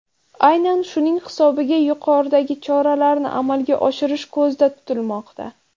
Aynan shuning hisobiga yuqoridagi choralarni amalga oshirish ko‘zda tutilmoqda.